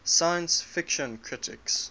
science fiction critics